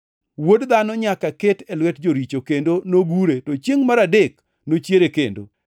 ‘Wuod Dhano nyaka ket e lwet joricho, kendo nogure to chiengʼ mar adek nochiere kendo.’ ”